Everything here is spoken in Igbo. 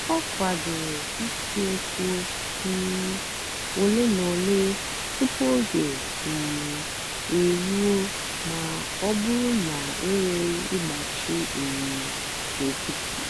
ọ kwàdòrè ìsìòkwụ́ um òlé na òlé tupu ógè um èrùó mà ọ́ bụ́rụ́ na ènwèrè ị̀gbáchì um nkìtì.